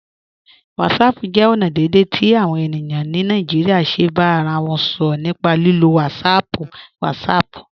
Whatsapping jẹ ọna deẹ̀dẹ̀ ti awọn ènìyàn ni Naijíríà ṣè bá ara wọn sọrọ̀ nípà lílò WhatsApp WhatsApp.